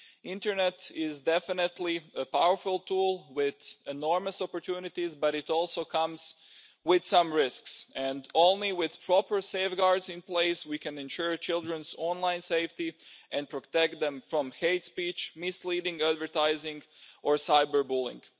The internet is definitely a powerful tool with enormous opportunities, but it also comes with some risks and only with proper safeguards in place can we ensure children's online safety and protect them from hate speech, misleading advertising or cyber bullying.